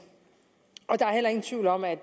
tvivl om at